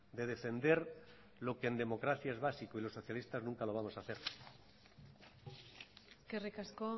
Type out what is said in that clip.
de defender lo que en democracia es básico y los socialistas nunca lo vamos a hacer eskerrik asko